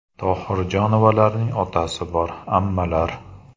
Tohirjonovalarning otasi bor, amallar.